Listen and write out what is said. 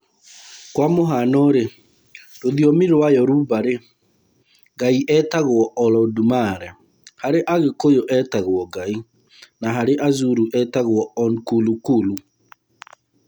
Kwa Mũhaano-rĩ, rũthiomi rwa Yoruba (Nigeria), Ngai etagwo Olodumare; harĩ Agĩkũyũ (Kenya), agetwo Ngai; na harĩ Azulu (Afrika ya Gũthini), etagwo Unkulunkulu.